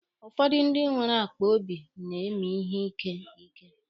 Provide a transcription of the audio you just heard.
Ụfọdụ ndị nwere akpaobi na-emi ihe ike ike.